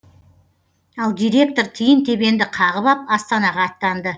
ал директор тиын тебенді қағып ап астанаға аттанды